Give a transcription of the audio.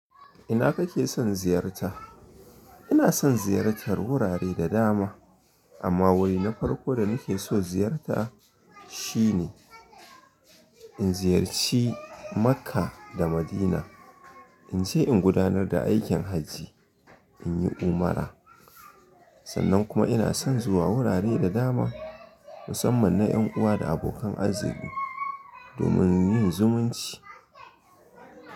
Ina kake son ziyarta? Ina son ziyartar wurare da dama amma wuri na farko da nake so ziyarta shine in ziyarci Makka da Madina. In je in gudanar da aikin Hajji, in yi Umra. Sannan kuma ina son zuwa wurare da dama musamman na ‘yan uwa da abokan arziki domin yin zumunci.